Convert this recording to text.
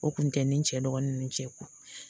O kun tɛ ni cɛ dɔgɔnin nunnu cɛ kun